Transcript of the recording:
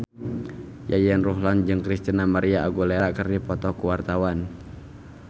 Yayan Ruhlan jeung Christina María Aguilera keur dipoto ku wartawan